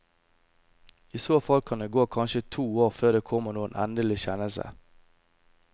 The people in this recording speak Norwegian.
I så fall kan det gå kanskje to år før det kommer noen endelig kjennelse.